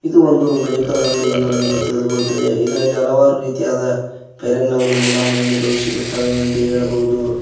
ಇದು ಒಂದು ಮೆಡಿಕಲ್ ಅಂಗಡಿ ಎಂದು ನಮಗೆ ತಿಳಿದು ಬರುತ್ತದೆ ಇದರಲ್ಲಿ ಹಲವಾರು ರೀತಿಯಾದ ಫೇರ್ ಅಂಡ್ ಲವ್ಲೀ ಮೂಲಮು ಎಣ್ಣೆ ಸಿಗುತ್ತವೆ ಎಂದು ಹೇಳಬಹುದು.